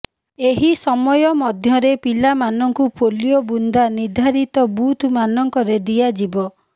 ଏହି ସମୟ ମଧ୍ୟରେ ପିଲା ମାନଙ୍କୁ ପୋଲିଓ ବୁନ୍ଦା ନିର୍ଦ୍ଧାରିତ ବୁଥ ମାନଙ୍କରେ ଦିଆଯିବ